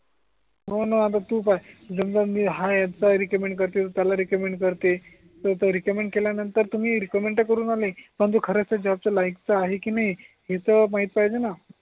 हो णा आता तु बग जर बग मी हायरचा रिकमेंट करतिल त्याला रिकमेंट करते तर तो रिकमेंट केल्या नंतर तुम्ही रिकमेंट तर करून आले पण तो खरच तो जॉबच्या लायकीचा आहे की नाही हे तर माहीत पाहिजे णा